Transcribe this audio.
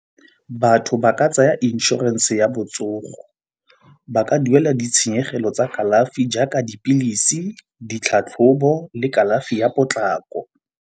Batho ba ka tsaya inšorense ya botsogo. Ba ka duela ditshenyegelo tsa kalafi jaaka dipilisi, ditlhatlhobo le kalafi ya potlako.